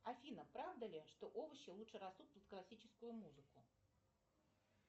афина правда ли что овощи лучше растут под классическую музыку